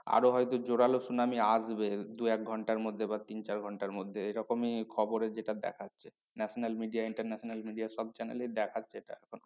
আরো হয় তো জোরালো সুনামি আসবে। দু এক ঘন্টার মধ্যে বা তিন চার ঘন্টার মধ্যে এরকমই খবরে যেটা দেখাচ্ছে national media international media সব channel এই দেখাচ্ছে এটা এখন